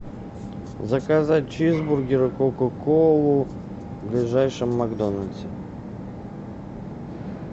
заказать чизбургер кока колу в ближайшем макдональдсе